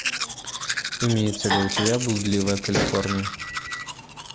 имеется ли у тебя блудливая калифорния